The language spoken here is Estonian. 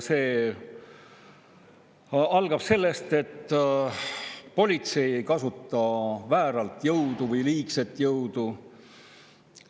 See algab sellest, et politsei ei kasuta vääralt või liigselt jõudu.